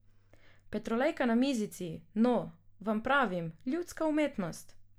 Petrolejka na mizici, no, vam pravim, ljudska umetnost!